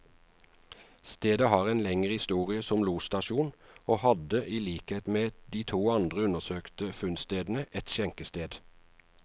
Stedet har en lengre historie som losstasjon, og hadde i likhet med de to andre undersøkte funnstedene, et skjenkested.